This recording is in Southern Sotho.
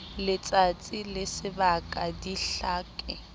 letsatsi le sebaka di hlake